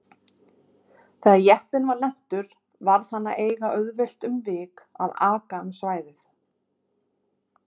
Þegar jeppinn var lentur varð hann að eiga auðvelt um vik að aka um svæðið.